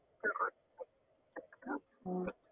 உம்